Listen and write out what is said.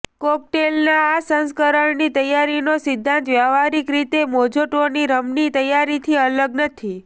કોકટેલના આ સંસ્કરણની તૈયારીનો સિદ્ધાંત વ્યવહારિક રીતે મોઝોટોની રમની તૈયારીથી અલગ નથી